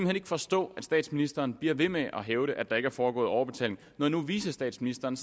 hen ikke forstå at statsministeren bliver ved med at hævde at der ikke er foregået overbetaling når nu vicestatsministeren